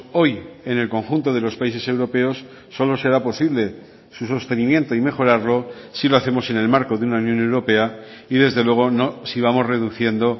hoy en el conjunto de los países europeos solo será posible su sostenimiento y mejorarlo si lo hacemos en el marco de una unión europea y desde luego no si vamos reduciendo